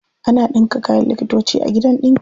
Ana ɗinka kayan likitoci a gidan ɗinki.